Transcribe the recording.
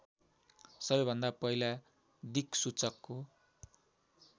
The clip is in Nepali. सबैभन्दा पहिला दिक्सूचकको